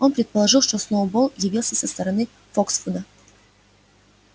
он предположил что сноуболл явился со стороны фоксвуда